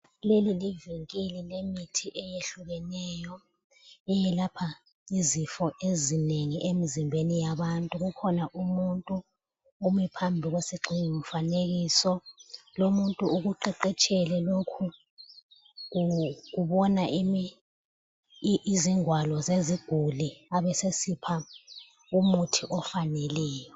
Leli livinkili lemithi eyehlukeneyo, eyelapha izifo ezinengi emzimbeni yabantu. Kukhona umuntu ome phambi kwesigxingi mfanekiso. Lomuntu ukuqeqetshele lokho, ubona izingwalo zeziguli abesesipha umuthi ofaneleyo.